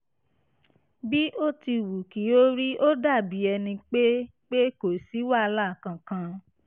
bí ó ti wù kí ó rí ó dàbí ẹni pé pé kò sí wàhálà kankan